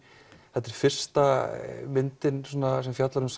þetta er fyrsta myndin sem fjallar um